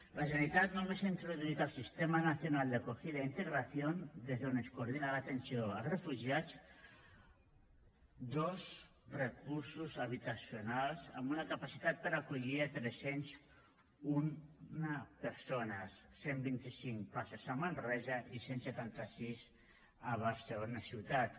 la generalitat només ha introduït al sistema nacional de acogida e integración des d’on es coordina l’atenció als refugiats dos recursos habitacionals amb una capacitat per acollir tres cents i un persones cent i vint cinc places a manresa i cent i setanta sis a barcelona ciutat